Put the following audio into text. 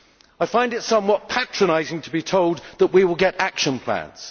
I find it somewhat patronising to be told that we will get action plans.